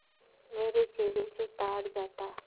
मेरे चेहरे से ताड़ जाता